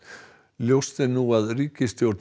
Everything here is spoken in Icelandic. ljóst er nú að ríkisstjórn